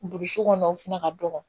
Burusu kɔnɔ o fana ka dɔgɔn